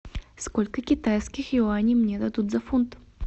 сколько китайских юаней мне дадут за фунт